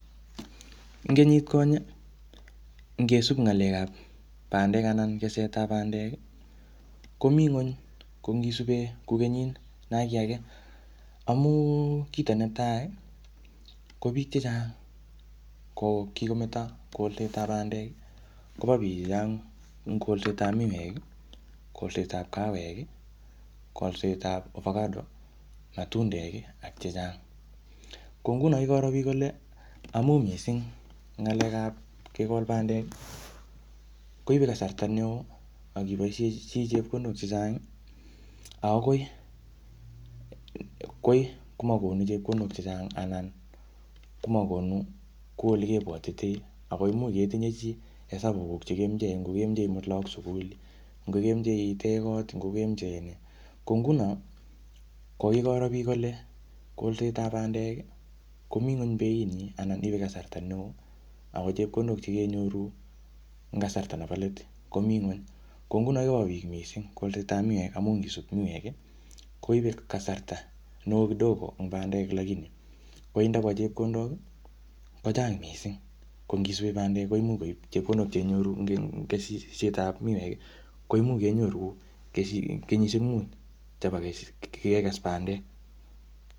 Ing kenyit konye, ngesup ng'alekab pandek anan kesetab pandek, komi ngweny. Ko ngi sibe kora kou kenyit naki age, amun kito netai, kobiik chechang ko kikimeto kolsetab pandek kopa biik chechang kolsetab miwek kolsetab avacado matundek ak alak chechang. Ko nguno kikoro biik kole amun ngisib ng'alekab kekol pandek koibei kasarta neo ak iboishe chii chepkondok chechang ako koi komakonu chepkondok chechang anan magonu kou yekebwatitoi ako imuch itinye chii esabuk yebendi lagok sugul, ngo kemache itech kot ko nguno kikoro biik kole kolsetab pandek komin beit anan koipei kasarta neo ako chepkondok chekenyoru eng kasarta nebo letkomi ngweny. Ko nguno kolsetab miwek amum ngisup koibei kasarta neo kudogo kosir pandek lakini nebo chepkondok kochang mising.ko ngisip pandek ko chepjondok cheinyoru eng kesisietab miwek kouyo kenyoru eng kenyisiek mut kokekes pandek.